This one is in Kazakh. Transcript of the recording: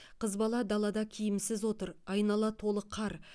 қыз бала далада киімсіз отыр айнала толы қар